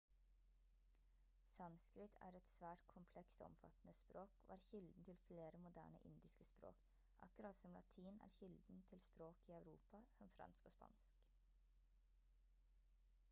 sanskrit er et svært komplekst og omfattende språk og er kilden til flere moderne indiske språk akkurat som latin som er kilden til språk i europa som fransk og spansk